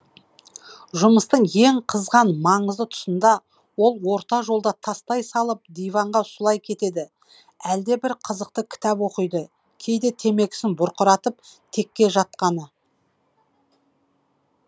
жұмыстың ең қызған маңызды тұсында ол орта жолда тастай салып диванға сұлай кетеді әлде бір қызықты кітап оқиды кейде темекісін бұрқыратып текке жатқаны